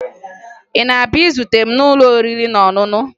Ị na-abịa izute m n'ụlọ oriri na ọṅụṅụ?